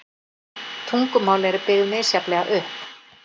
Tungumál eru byggð misjafnlega upp.